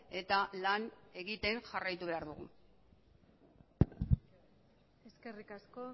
eta lan egiten jarraitu behar dugu eskerrik asko